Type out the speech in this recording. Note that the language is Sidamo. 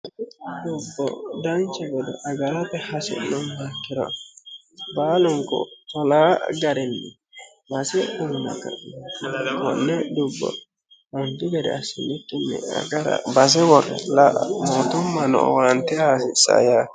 dubbo dancha gede agarate hasi'nummoha ikkiro baalunku maa garinni konne dubbo mootummano base uyiite la'a hasiissanno.